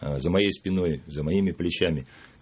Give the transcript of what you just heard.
за моей спиной за моими плечами